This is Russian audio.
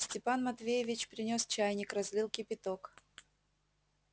степан матвеевич принёс чайник разлил кипяток